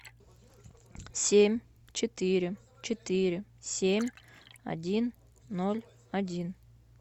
семь четыре четыре семь один ноль один